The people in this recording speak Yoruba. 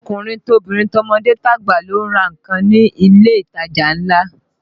Tọkùnrin tobìnrin, tọmọdé tàgbà ló ń ra nǹkan ní ilé ìtajà ńlá